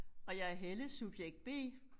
Og jeg er Helle subjekt B